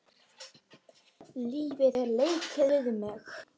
Lífið hefur leikið við mig.